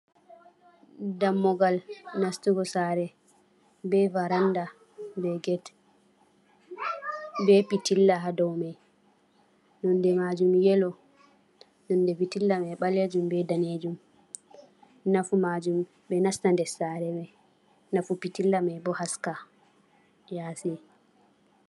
Dammugal nastugo saare, be baranda, be get, be pitilla haa dow main, node majum yelo, nonde pitilla mai ɓalejum be danejum. Nafu majum ɓe nasta dessaare mai, nafu pitilla mai bo haska yasi.